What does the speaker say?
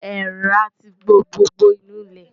Èèrà ti bo gbogbo inú ilé.